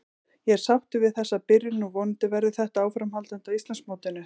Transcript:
Ég er sáttur við þessa byrjun og vonandi verður þetta áframhaldandi á Íslandsmótinu.